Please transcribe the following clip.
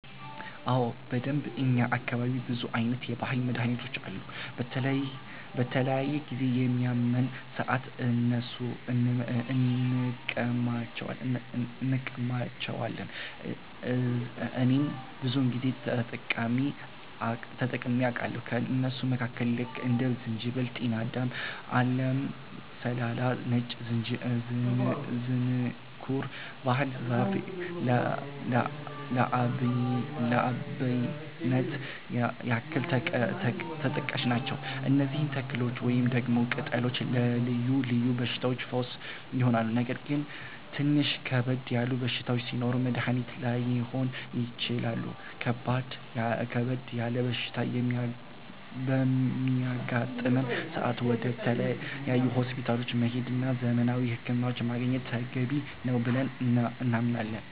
አዎ በደንብ፣ እኛ አካባቢ ብዙ አይነት የባህል መድሀኒቶች አሉ። በተለያየ ጊዜ በሚያመን ሰአት እነሱን እንቀማለቸዋለን እኔም ብዙ ጊዜ ተጠቅሜ አቃለሁኝ። ከእነሱም መካከል ልክ እንደ ዝንጅበል፣ ጤናዳም፣ አለም ሰላላ፣ ነጭ ዝንኩርት፣ ባህር ዛፍ ለአብነት ያክል ተጠቃሽ ናቸው። እነዚህ ተክሎች ወይንም ደግሞ ቅጠሎች ለልዮ ልዮ በሽታዎች ፈውስ ይሆናሉ። ነገር ግን ትንሽ ከበድ ያለ በሽታ ሲኖር መድኒት ላይሆኑ ይችላሉ ከበድ ያለ በሽታ በሚያጋጥም ሰአት ወደ ተለያዩ ሆስፒታሎች መሄድ እና ዘመናዊ ህክምና ማግኘት ተገቢ ነው ብለን እናምናለን።